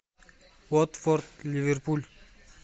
уотфорд ливерпуль